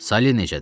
Sali necədir?